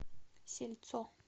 сельцо